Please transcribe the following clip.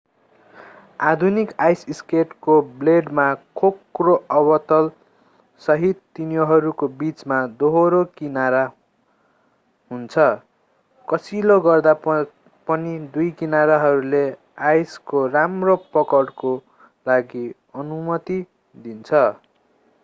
आधुनिक आइस स्केटको ब्लेडमा खोक्रो अवतलसहित तिनीहरूको बीचमा दोहोरो किनारा हुन्छ कसिलो गर्दा पनि दुई किनारहरूले आइसको राम्रो पकडको लागि अनुमति दिन्छ